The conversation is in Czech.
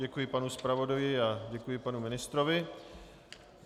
Děkuji panu zpravodaji a děkuji panu ministrovi.